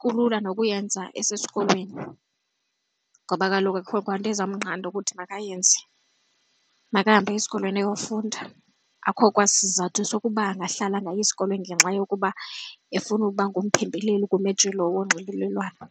kulula nokuyenza esesikolweni ngoba kaloku akukho kwanto ezamnqanda ukuthi makayenze. Makahambe aye esikolweni ayofunda, akukho kwasizathu sokuba angahlala angayi esikolweni ngenxa yokuba efuna ukuba ngumphembeleli kumajelo onxibelelwano.